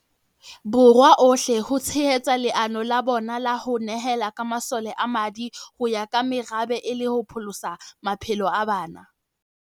Borwa ohle ho tshehetsa leano la bona la ho ne hela ka masole a madi ho ya ka merabe e le ho pholosa maphelo a bana.